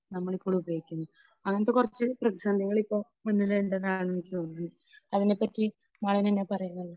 നമ്മൾ ഇപ്പോൾ ഉപയോഗിക്കുന്നത്. അങ്ങനെത്തെ കുറച്ച് പ്രതിസന്ധികൾ ഇപ്പോൾ മുൻനിരയിൽ ഉണ്ടെന്നാണ് എനിക്ക് തോന്നുന്നത്. അതിനെപ്പറ്റി മാളവിക എന്താണ് പറയുന്നത്?